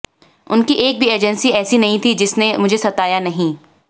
उनकी एक भी एजेंसी ऐसी नहीं थी जिसने मुझे सताया नहीं